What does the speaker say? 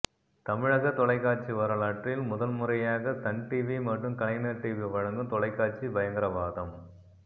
தமிழக தொலைக்காட்சி வரலாற்றில் முதன்முறையாக சன் டிவி மற்றும் கலைஞர் டிவி வழங்கும் தொலைக்காட்சி பயங்கரவாதம்